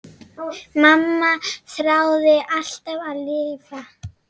Mamma þráði alltaf að lifa.